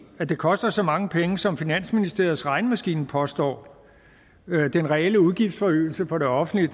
at det koster så mange penge som finansministeriets regnemaskine påstår den reelle udgiftsforøgelse for det offentlige